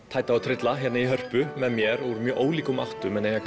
tæta og trylla hér í Hörpu með mér úr ólíkum áttum en eiga